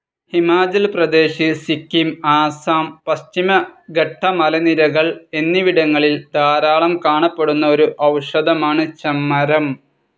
ഹിമാചൽ പ്രദേശ്, സിക്കിം, ആസാം, പശ്ചിമഘട്ടമലനിരകൾ എന്നിവിടങ്ങളിൽ ധാരാളം കാണപ്പെടുന്ന ഒരു ഔഷധം ആണ്‌ ചെമ്മരം.